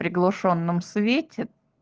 приглушённом свете